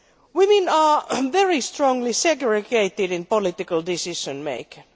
Women are very strongly segregated in political decision making.